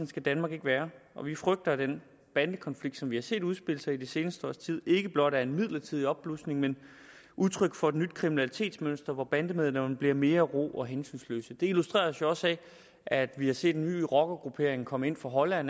skal danmark ikke være vi frygter at den bandekonflikt som vi har set udspille sig i det seneste års tid ikke blot er en midlertidig opblusning men udtryk for et nyt kriminalitetsmønster hvor bandemedlemmerne bliver mere rå og hensynsløse det illustreres jo også af at vi har set en ny rockergruppering komme ind fra holland